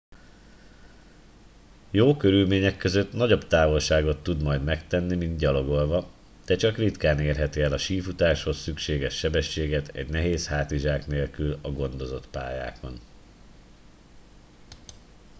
jó körülmények között nagyobb távolságot tud majd megtenni mint gyalogolva de csak ritkán érheti el a sífutáshoz szükséges sebességet egy nehéz hátizsák nélkül a gondozott pályákon